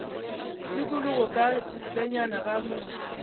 tikologo ka ntlenyana ga motse